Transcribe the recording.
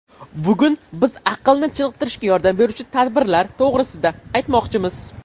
Bugun biz aqlni chiniqtirishga yordam beruvchi tadbirlar to‘g‘risida aytmoqchimiz.